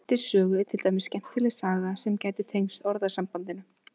Í Grettis sögu er til dæmis skemmtileg saga sem gæti tengst orðasambandinu.